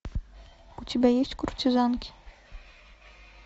у тебя есть куртизанки